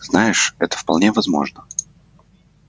знаешь это вполне возможно